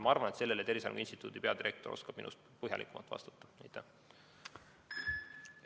Ma arvan, et Tervise Arengu Instituudi direktor oskab minust põhjalikumalt sellele küsimusele vastata.